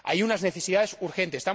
Hay unas necesidades urgentes.